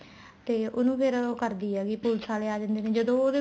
ਤੇ ਉਹਨੂੰ ਫ਼ੇਰ ਉਹ ਕਰਦੀ ਹੈਗੀ police ਆਲੇ ਆ ਜਾਂਦੇ ਨੇ ਜਦੋਂ ਉਹ